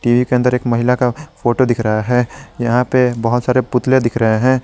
TV के अंदर एक महिला का फोटो दिख रहा है यहां पे बहुत सारे पुतले दिख रहे है।